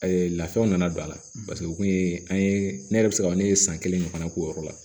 lafiyaw nana don a la paseke o kun ye an ye ne yɛrɛ bɛ se ka ne ye san kelen ne fana k'o yɔrɔ la